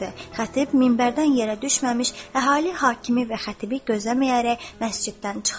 Xətib minbərdən yerə düşməmiş, əhali hakimi və xətibi gözləməyərək məsciddən çıxdı.